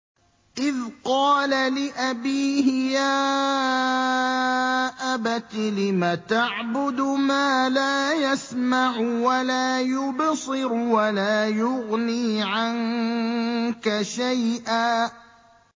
إِذْ قَالَ لِأَبِيهِ يَا أَبَتِ لِمَ تَعْبُدُ مَا لَا يَسْمَعُ وَلَا يُبْصِرُ وَلَا يُغْنِي عَنكَ شَيْئًا